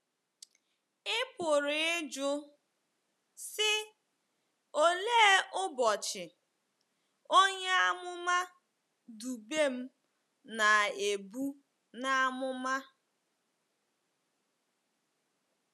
Ị pụrụ ịjụ, sị, ‘Olee “ụbọchị” onye amụma Dubem na-ebu n’amụma? '